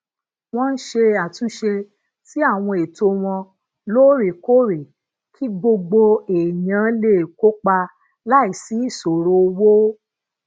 wón ń ṣe àtúnṣe sí àwọn ètò wọn loorekoore kí gbogbo èèyàn lè kópa láìsí isoro owo